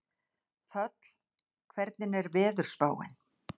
Þöll, hvernig er veðurspáin?